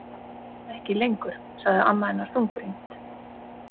Ekki lengur, sagði amma hennar þungbrýnd.